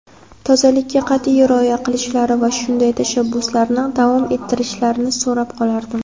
tozalikka qat’iy rioya qilishlari va shunday tashabbuslarni davom ettirishlarini so‘rab qolardim!.